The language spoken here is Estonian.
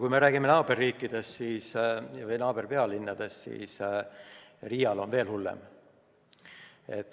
Kui me räägime naaberriikidest või nende pealinnadest, siis Riial on olukord veel hullem.